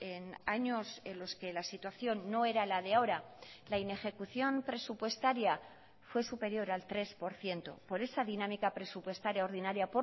en años en los que la situación no era la de ahora la inejecución presupuestaria fue superior al tres por ciento por esa dinámica presupuestaria ordinaria